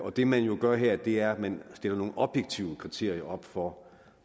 og det man jo gør her er at man stiller nogle objektive kriterier op for